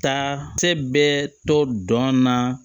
Ta cɛ bɛ to dɔn na